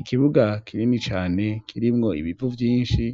Ikibuga kirini cane kirimwo ibivu vyinshi